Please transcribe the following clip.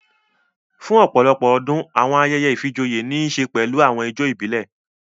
Fún ọ̀pọ̀lọpọ̀ ọdún, àwọn ayẹyẹ ìfijoyé ní ń ṣe pẹlu àwọn ijó ìbílẹ̀